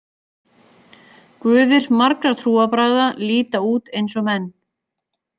Guðir margra trúarbragða líta út eins og menn.